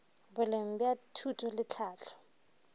boleng bja thuto le tlhahlo